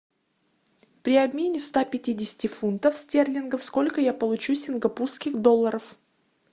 при обмене ста пятидесяти фунтов стерлингов сколько я получу сингапурских долларов